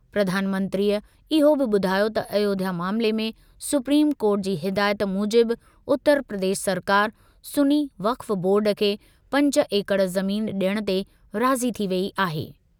प्रधानमंत्रीअ इहो बि ॿुधायो त अयोध्या मामले में सुप्रीम कोर्ट जी हिदायत मूजिबि उतर प्रदेश सरकार सुन्नी वक्फ़ बोर्ड खे पंज एकड़ ज़मीन डि॒यणु ते राज़ी थी वेई आहे।